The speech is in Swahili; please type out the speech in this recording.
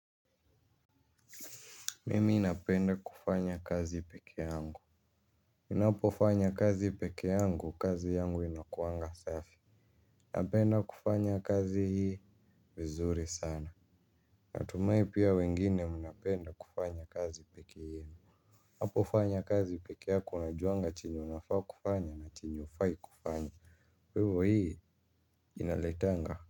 Mimi napenda kufanya kazi peke yangu nnapofanya kazi peke yangu, kazi yangu inakuanga safi napenda kufanya kazi hii vizuri sana. Natumai pia wengine mnapenda kufanya kazi peke yenu. Napofanya kazi peke yako unajuanga chenye unafaa kufanya na chenye ufai kufanya kwaivo hii inaletanga.